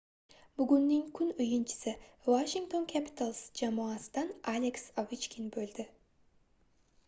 bugunning kun oʻyinchisi washington capitals jamoasidan aleks ovechkin boʻldi